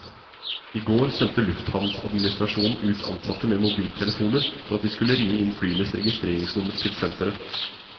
I går sendte lufthavnadministrasjonen ut ansatte med mobiltelefoner for at de skulle ringe inn flyenes registreringsnumre til senteret.